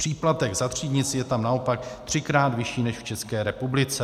Příplatek za třídnictví je tam naopak třikrát vyšší než v České republice.